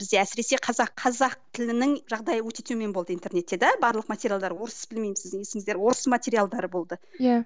бізде әсіресе қазақ тілінің жағдайы өте төмен болды интернетте де барлық материалдар орыс білмеймін сіздің есіңізде орыс материалдары болды иә